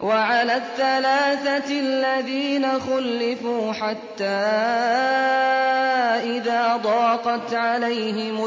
وَعَلَى الثَّلَاثَةِ الَّذِينَ خُلِّفُوا حَتَّىٰ إِذَا ضَاقَتْ عَلَيْهِمُ